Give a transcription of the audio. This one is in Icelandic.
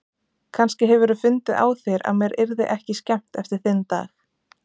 Kannski hefurðu fundið á þér að mér yrði ekki skemmt eftir þinn dag.